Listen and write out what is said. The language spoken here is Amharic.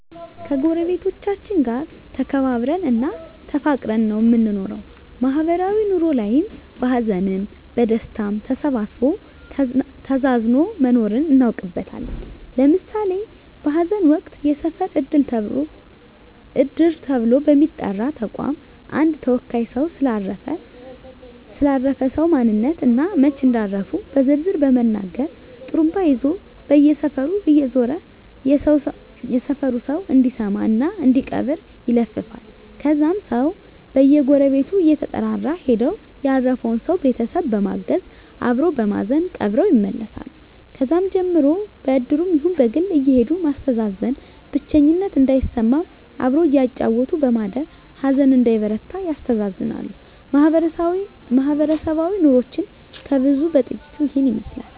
ከጎረቤቶቻችን ጋር ተከባብረን እና ተፋቅረን ነው የምንኖረው ማህበራዊ ኑሮ ላይም በሀዘንም በደስታም ተሳስቦ ተዛዝኖ መኖርን እናውቅበታለን ለምሳሌ በሀዘን ወቅት የሰፈር እድር ተብሎ በሚጠራ ተቋም አንድ ተወካይ ሰው ስለ አረፈ ሰው ማንነት እና መች እንዳረፉ በዝርዝር በመናገር ጡሩምባ ይዞ በየሰፈሩ እየዞረ የሰፈሩ ሰው እንዲሰማ እና እንዲቀብር ይለፍፋል ከዛም ሰው በየጎረቤቱ እየተጠራራ ሄደው ያረፈውን ሰው ቤተሰብ በማገዝ አበሮ በማዘን ቀብረው ይመለሳሉ ከዛም ቀን ጀምሮ በእድሩም ይሁን በግል አየሄዱ ማስተዛዘን ብቸኝነት እንዳይሰማም አብሮ እያጫወቱ በማደር ሀዘን እንዳይበረታ ያስተዛዝናሉ ማህበረሰባዊ ኑሮችን ከብዙ በጥቂቱ ይህን ይመስላል